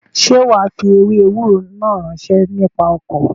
Sé wàá fi ewé ewúro náà ránṣẹ́ nípa ọkọ̀?